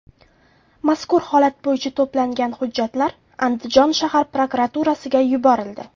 Mazkur holat bo‘yicha to‘plangan hujjatlar Andijon shahar prokuraturasiga yuborildi.